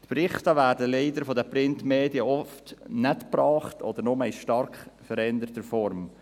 Leider werden die Berichte von den Printmedien oft nicht gebracht oder nur in stark veränderter Form.